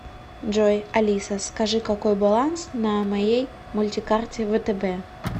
джой алиса скажи какой баланс на моей мультикарте втб